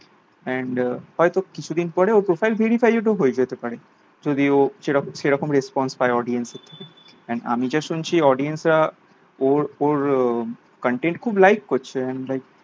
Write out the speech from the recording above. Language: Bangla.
and হয়তো কিছুদিন পরে ওর profile verified ও তো হয়ে যেতে পারে যদি ও সেরকম সেরকম response পায় audience র থেকে and আমি যা শুনছি audience রা ওর ওর content খুব like করছে like